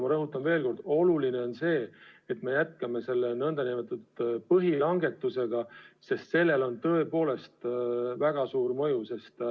Ent rõhutan veel kord, et oluline on see, et me jätkame selle nn põhilangetusega, sest sellel on tõepoolest väga suur mõju.